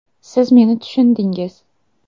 Siz meni tushundingiz.